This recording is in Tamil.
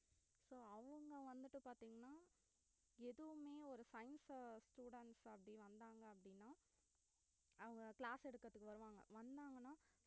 so அவுங்க வந்துட்டு பாத்தீங்கன்னா எதுமே ஒரு science students அப்பிடி வந்தாங்க அப்படினா அவுங்க class எடுக்குறதுக்கு வருவாங்க வந்தாங்கன்னா